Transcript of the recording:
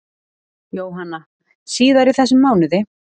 Jóhanna: Síðar í þessum mánuði?